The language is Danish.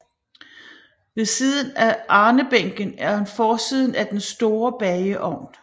Ved siden af arnebænken er forsiden af den store bageovn